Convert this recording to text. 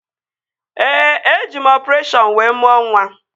Ee, eji m ọpụreshọn wee mụọ nwa